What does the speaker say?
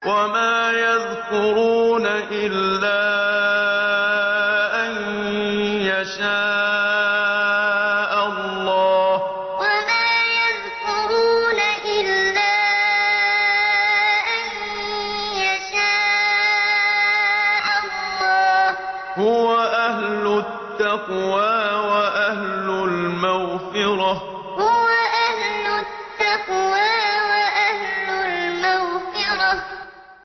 وَمَا يَذْكُرُونَ إِلَّا أَن يَشَاءَ اللَّهُ ۚ هُوَ أَهْلُ التَّقْوَىٰ وَأَهْلُ الْمَغْفِرَةِ وَمَا يَذْكُرُونَ إِلَّا أَن يَشَاءَ اللَّهُ ۚ هُوَ أَهْلُ التَّقْوَىٰ وَأَهْلُ الْمَغْفِرَةِ